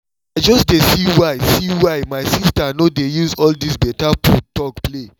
i just dey see why see why my sister no dey use all this better food talk play